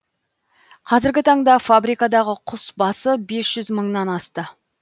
қазіргі таңда фабрикадағы құс басы бес жүз мыңнан асты